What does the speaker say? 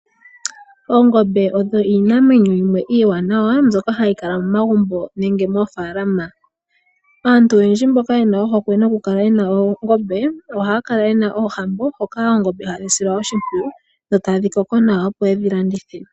Oongombe dho iinamwenyo yimwe iiwanawa mbyoka hayi kala momagumbo nenge moofaalama. Aantu oyendji mboka yena ohokwe yokukala noongombe ohayakala yena oohambo hoka oongombe hadhi silwa oshimpwiyu dhotadhi koko nawa opo yedhi landithe.